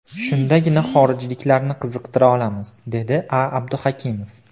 Shundagina xorijliklarni qiziqtira olamiz”, dedi A Abduhakimov.